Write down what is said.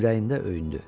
Ürəyində öyündü.